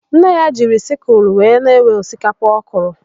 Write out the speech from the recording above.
Nne ya jiri sịkụlụ wee na-ewe osikapa ọ kụrụ.